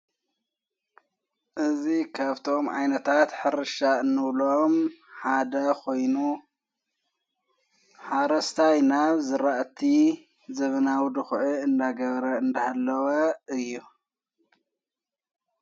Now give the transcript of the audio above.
እዙይ ከብቶም ኣይነታት ሕርሻ እንብሎም ሓደ ኾይኑ ሓረስታይ ናብ ዘራእቲ ዘመናዊ ድዂዑ እናገበረ እንዳሃለወ እዩ።